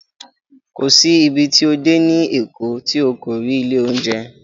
Kò sí ibi tí o dé ní Èkó tí o kò rí ilé oúnjẹ